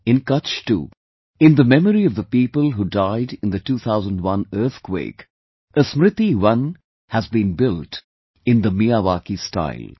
In Kutch too, in the memory of the people who died in the 2001 earthquake, a SmritiVan has been built in the Miyawaki style